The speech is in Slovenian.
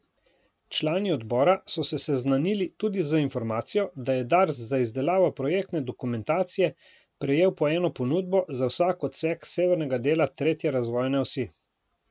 Člani odbora so se seznanili tudi z informacijo, da je Dars za izdelavo projektne dokumentacije prejel po eno ponudbo za vsak odsek severnega dela tretje razvojne osi.